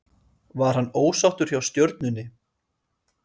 Var hann ósáttur hjá Stjörnunni?